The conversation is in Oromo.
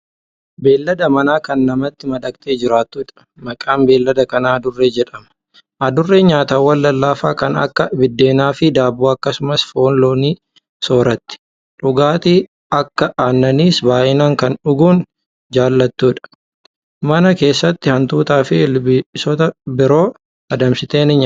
Beeylada manaa Kan namatti madaqxee jiraattuudha. maqaan beeylada kanaa Adurree jedhama. adurreen nyaatawwaan lallaafaaa ta'an Kan Akka biddeenaafi daabboo akkasumas foon loonii sooratti. dhugaatii aakkas aannaniis baay'inaan Kan dhuguun jaalattuudha. mana keessatti hantuutaafi ilbiisota biroo adamsitee ni nyaatti.